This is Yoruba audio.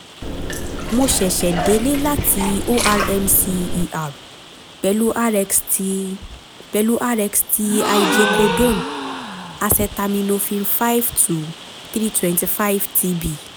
mo ṣẹ̀ṣẹ̀ délé láti ormc er pẹ̀lú rx ti pẹ̀lú rx ti hydrocodone / acetaminophen five - three hundred twenty five tb